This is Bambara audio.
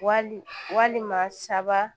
Wali walima saba